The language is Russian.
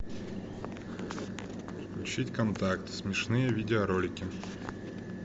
включить контакт смешные видеоролики